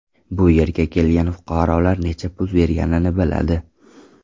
Bu yerga kelgan fuqarolar necha pul berganini biladi.